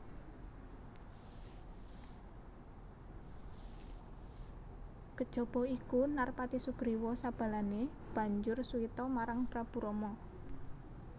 Kejaba iku Narpati Sugriwa sabalané banjur suwita marang Prabu Rama